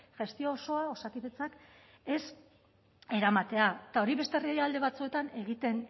gestio osoa osakidetzak ez eramatea eta hori beste herrialde batzuetan egiten